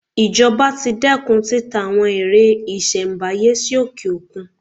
Ìjọba ti dẹ́kun títa àwọn ère ìṣelm̀báyé sí òkè-òkun.